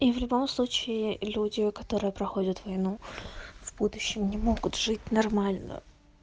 и в любом случае люди которые проходят войну в будущем не могут жить нормально